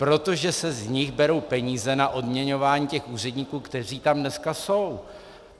Protože se z nich berou peníze na odměňování těch úředníků, kteří tam dneska jsou.